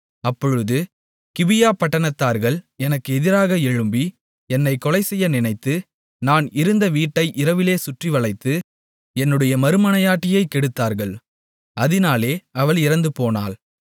அப்பொழுது கிபியாபட்டணத்தார்கள் எனக்கு எதிராக எழும்பி என்னைக் கொலை செய்ய நினைத்து நான் இருந்த வீட்டை இரவிலே சுற்றிவளைத்து என்னுடைய மறுமனையாட்டியைக் கெடுத்தார்கள் அதினாலே அவள் இறந்துபோனாள்